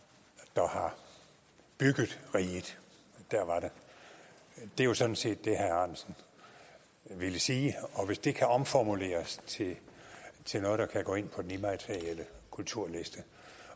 der har bygget riget der var den det er sådan set det herre ahrendtsen ville sige og hvis det kan omformuleres til til noget der kan gå ind på den immaterielle kulturliste